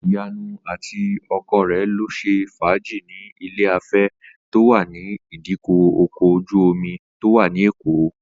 Ìyanu àti ọkọ rẹ̀ lọ ṣe fàájì ní ilé-afẹ́ tó wà ní ìdíkọ̀ ọkọ̀ ojú-omi tó wà ní Èkó